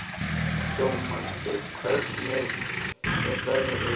Dómaldur, hvernig er veðrið í dag?